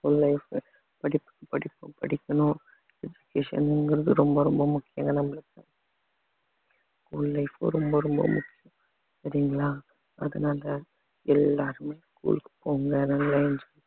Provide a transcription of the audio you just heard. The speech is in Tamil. school life படிப்பு படிப்பு படிக்கணும் education ங்கிறது ரொம்ப ரொம்ப முக்கியம்ங்க நம்மளுக்கு school life ரொம்ப ரொம்ப முக்கியம் சரிங்களா அதனால எல்லாருமே school க்கு போங்க நல்லா enjoy